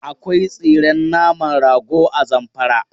Akwai tsiren naman rago a Zamfara.